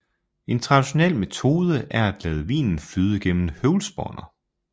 En traditionel metode er at lade vinen flyde gennem høvlspåner